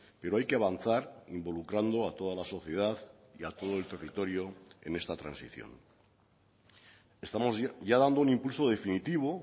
pero hay que avanzar involucrando a toda la sociedad y a todo el territorio en esta transición estamos ya dando un impulso definitivo